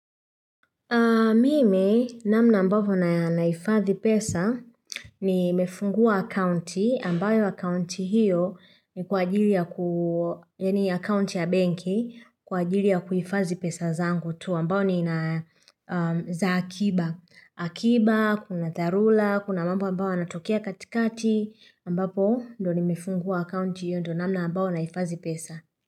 Mimi namna ambavyo na nahifadhi pesa ni mefungua akaunti ambayo akaunti hiyo ni kwa ajili yaani akaunti ya benki kwa ajili ya kuhifazi pesa zangu tu ambayo nina za akiba. Akiba, kuna dharula, kuna mambo ambayo yanatokea katikati ambapo ndo ni mefungua akaunti hiyo ndo namna ambayo naifadhi pesa.